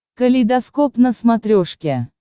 калейдоскоп на смотрешке